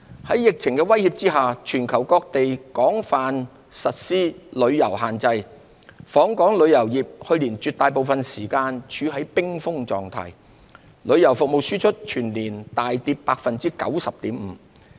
在疫情的威脅下，全球各地實施廣泛的旅遊限制，訪港旅遊業去年絕大部分時間處於冰封狀態，旅遊服務輸出全年大跌 90.5%。